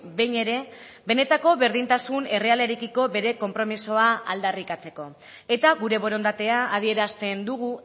behin ere benetako berdintasun errealarekiko bere konpromisoa aldarrikatzeko eta gure borondatea adierazten dugu